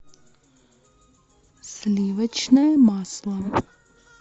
сливочное масло